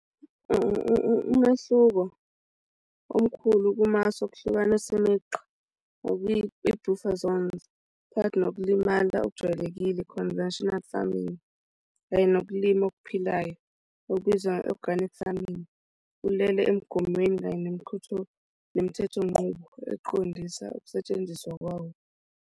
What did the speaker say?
Umehluko omkhulu kumasu okuhlukanisa imigqa okwiyi-brufazones phakathi nokulimala okujwayelekile, conventional farming, kanye nokulima okuphilayo okubizwa nge-organic farrming, ulele emigomweni kanye nemithetho nqubo eqondisa ukusetshenziswa kwawo.